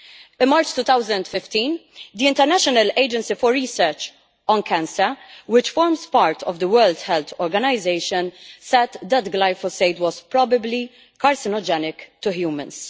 In March 2015, the International Agency for Research on Cancer, which forms part of the World Health Organisation, said that glyphosate was probably carcinogenic to humans'.